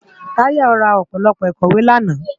Tayo rá ópólópó ikòwé làná